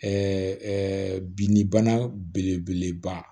binnibana belebeleba